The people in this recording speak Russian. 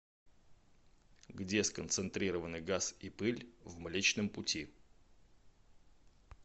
где сконцентрированы газ и пыль в млечном пути